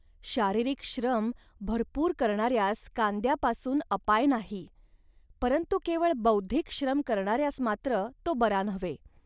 शारीरिक श्रम भरपूर करणाऱ्यांस कांद्यापासून अपाय नाही. परंतु केवळ बौद्धिक श्रम करणाऱ्यास मात्र तो बरा नव्हे